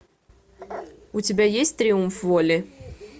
у тебя есть триумф воли